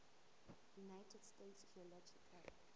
united states geological